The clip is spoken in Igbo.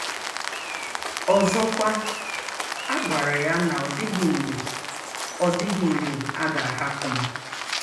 Ọzọkwa, a gwara ya na ọ dịghị mgbe ọ dịghị mgbe a ga-ahapụ m.